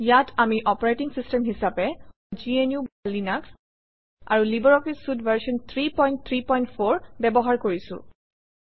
ইয়াত আমি operating system হিচাপে gnuলিনাস আৰু লাইব্ৰঅফিছ চুইতে ভাৰ্চন 334 ব্যৱহাৰ কৰিছোঁ